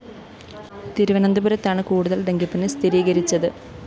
തിരുവനന്തപുരത്താണ് കൂടുതല്‍ ഡെങ്കിപ്പനി സ്ഥീരികരിച്ചത്